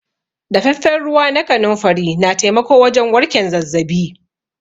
Daffafen ruwa na kanunfari na taimako wajen warken zazzabi.